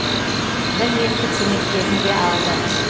бір реттік көмектерін де алды